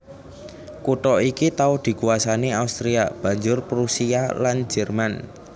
Kutha iki tau dikuwasani Austria banjur Prusia lan Jerman